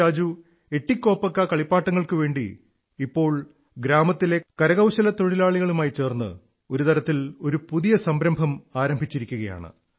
രാജു എതികോപ്പക്ക കളിപ്പാട്ടങ്ങൾക്കുവേണ്ടി ഇപ്പോൾ ഗ്രാമത്തിലെ കരകൌശല തൊഴിലാളികളുമായി ചേർന്ന് ഒരു തരത്തിൽ ഒരു പുതിയ മുന്നേറ്റം ആരംഭിച്ചിരിക്കയാണ്